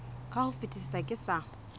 ka ho fetisisa ke sa